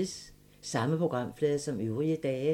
Samme programflade som øvrige dage